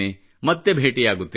ಮತ್ತೆ ಭೇಟಿಯಾಗುತ್ತೇನೆ